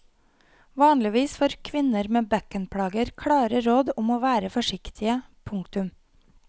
Vanligvis får kvinner med bekkenplager klare råd om å være forsiktige. punktum